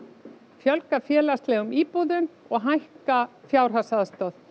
fjölga félagslegum íbúðum og hækka fjárhagsaðstoð